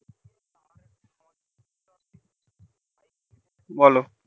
বলো